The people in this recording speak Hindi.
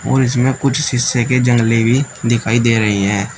और इसमें कुछ शीशे के जंगले भी दिखाई दे रहे हैं।